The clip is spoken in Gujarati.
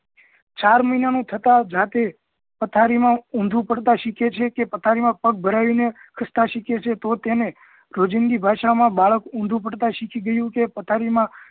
ચાર મહિના નું થતાં જાતે પથારીમાં ઊંધું પડતા સીખે છે કે પથારી માં પગ ભરાવીને ખસ્તા શીખે છે તો તેને રોજિંદી ભાષા માં બાળક ઊંધું પડતા શીખી ગયું કે પથારી માં